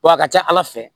W'a ka ca ala fɛ